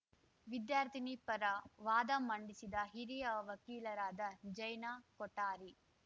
ವಿದ್ಯಾರ್ಥಿನಿ ಪರ ವಾದ ಮಂಡಿಸಿದ ಹಿರಿಯ ವಕೀಲರಾದ ಜಯ್ನಾ ಕೊಠಾರಿ